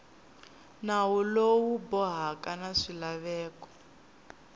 nawu lowu bohaka na swilaveko